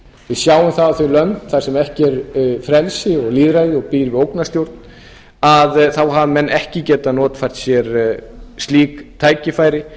við sjáum að þau lönd þar sem ekki er frelsi og lýðræði og sem búa við ógnarstjórn þá hafa menn ekki getað notfært sér slík tækifæri